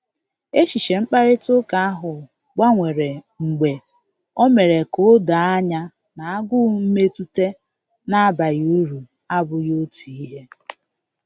Echiche mkparịta ụka ahụ gbanwere mgbe o mere ka o doo anya na agụụ mmetụta na abaghị uru abughị otu ihe